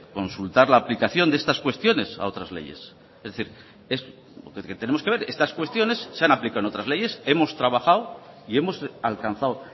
consultar la aplicación de estas cuestiones a otras leyes es decir lo que tenemos que ver es si estas cuestiones se han aplicado en otras leyes hemos trabajado y hemos alcanzado